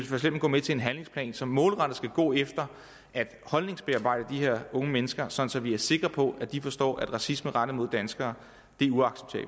for eksempel gå med til en handlingsplan som målrettet skal gå efter at holdningsbearbejde de her unge mennesker sådan at vi er sikre på at de forstår at racisme rettet mod danskere